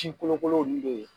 Si kolokolow nun be yen